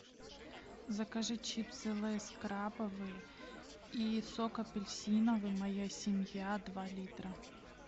закажи чипсы лейс крабовые и сок апельсиновый моя семья два литра